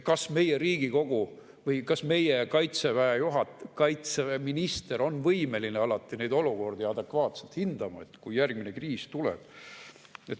Kas meie Riigikogu või kaitseminister on võimeline neid olukordi alati adekvaatselt hindama, kui järgmine kriis tuleb?